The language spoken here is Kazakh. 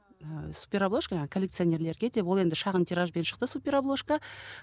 ыыы супер обложка жаңағы коллекционерлерге деп ол енді шағын тиражбен шықты супер обложка